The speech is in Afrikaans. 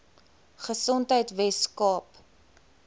gesondheidweskaap